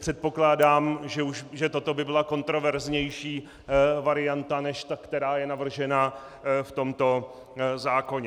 Předpokládám, že toto by byla kontroverznější varianta než ta, která je navržena v tomto zákoně.